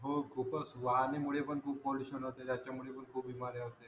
हो खूपच वहानेमुळे पण खूप पॉलिशन होते त्याच्यामुळे खूप होते